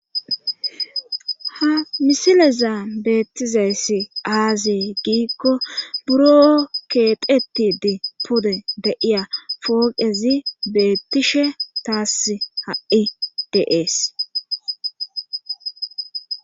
ha misileza beettizayssi aazee giikko buro keexetidi pode deiya fooqezi beettishe taas ha7i deees